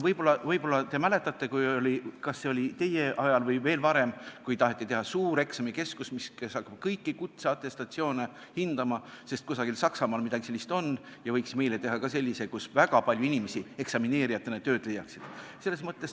Võib-olla te mäletate – ma ei tea, kas see oli teie ajal või veel varem –, kui taheti teha suur eksamikeskus, mis pidi hakkama kõigi kutsete atestatsioone hindama, sest kuskil Saksamaal pidi midagi sellist olema ja võiks meile teha ka sellise koha, kus väga palju inimesi eksamineerijatena tööd leiaksid.